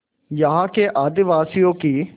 यहाँ के आदिवासियों की